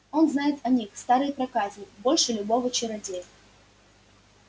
он знает о них старый проказник больше любого чародея